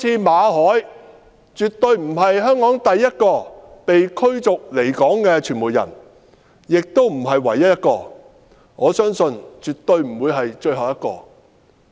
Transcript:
馬凱絕對不是香港第一位被驅逐離港的傳媒人，也不是唯一一位，也不會是最後一位。